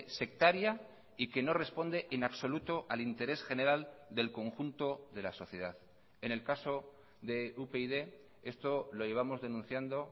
sectaria y que no responde en absoluto al interés general del conjunto de la sociedad en el caso de upyd esto lo llevamos denunciando